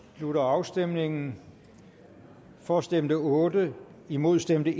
slutter afstemningen for stemte otte imod stemte